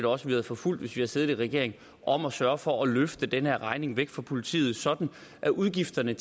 også havde forfulgt hvis vi havde siddet i regering om at sørge for at løfte den her regning væk fra politiet sådan at udgifterne i